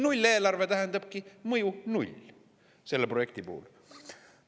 Nulleelarve tähendabki, et mõju on null – selle projekti puhul.